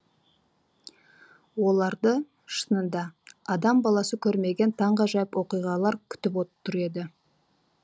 оларды шынында адам баласы көрмеген таңғажайып оқиғалар күтіп тұр еді